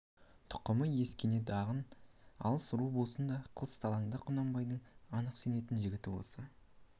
тұқымы ескене деген алыс ру болса да қысталаңда құнанбайдың анық сенетін жігіті осы